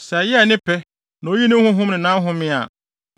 Sɛ ɛyɛɛ ne pɛ na oyii ne Honhom ne nʼahome a,